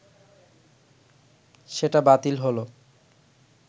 সেটা বাতিল হলো